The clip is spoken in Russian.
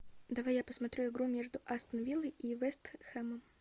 давай я посмотрю игру между астон виллой и вест хэмом